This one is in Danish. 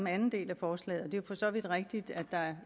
anden del af forslaget jo for så vidt rigtigt at der